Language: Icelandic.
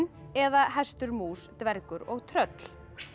eða hestur mús dvergur og tröll